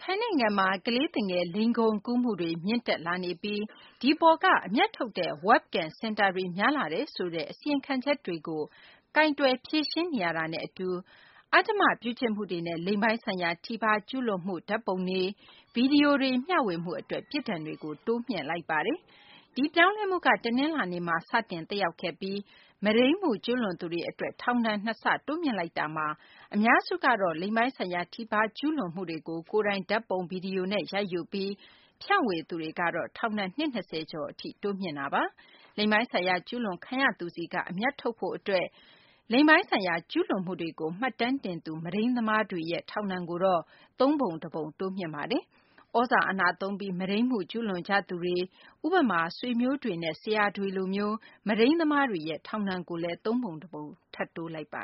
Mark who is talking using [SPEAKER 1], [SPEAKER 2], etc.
[SPEAKER 1] ိုင်းနိုင်ငံမှာ ကလေးသူငယ် လိင်ကုန်ကူးမှုတွေ မြင့်တက်လာနေပြီး ဒီပေါ်က အမြတ်ထုတ်တဲ့ webcam စင်တာတွေ များလာတယ်ဆိုတဲ့ အစီရင်ခံချက်တွေကို ကိုင်တွယ်ဖြေရှင်းနေရတာနဲ့ အတူ အဓမ္မပြုကျင့်မှုတွေနဲ့ လိင်ပိုင်းဆိုင်ရာ ထိပါးကျူးလွန်မှု ဓာတ်ပုံတွေ၊ ဗီဒီယိုတွေ မျှဝေမှု အတွက် ပြစ်ဒဏ်တွေ တိုးမြှင့်လိုက်ပါတယ်။ ဒီပြောင်းလဲမှုက တနလာၤနေ့မှာ စတင်သက်ရောက်ခဲ့ပြီး မုဒိမ်းမှုကျူးလွန်သူတွေ အတွက် ထောင်ဒဏ် ၂ ဆ တိုးမြှင့်လိုက်တာမှာ အများစုကတော့ လိင်ပိုင်းဆိုင်ရာ ထိပါးကျူးလွန်မှုတွေကို ကိုယ်တိုင် ဓာတ်ပုံ ဗီဒီယိုနဲ့ ရိုက်ယူပြီး ဖြန့်ဝေသူတွေကိုတော့ ထောင်ဒဏ် နှစ် ၂၀ ကျော် အထိ တိုးမြှင့်လိုက်တာပါ။ လိင်ပိုင်းဆိုင်ရာ ကျူးလွန်ခံရသူဆီက အမြတ်ထုတ်ဖို့ အတွက် လိင်ပိုင်းဆိုင်ရာ ကျူးလွန်မှုတွေကို မှတ်တမ်းတင်သူ မုဒိမ်းသမားတွေရဲ့ ထောင်ဒဏ်ကိုတော့ သုံးပုံတပုံ တိုးမြှင့်လိုက်ပါတယ်။ သြဇာအာဏာသုံးပြီး မုဒိမ်းမှု ကျူးလွန်ကြသူတွေ၊ ဥပမာ ဆွေမျိုးတွေနဲ့ ဆရာတွေလိုမျိုး မုဒိမ်းသမားတွေရဲ့ ထောင်ဒဏ်ကိုလည်း သုံးပုံတပုံ ထပ်တိုးလိုက်ပါ